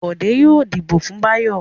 Bọ̀dé yóò dìbò fún Báyọ̀.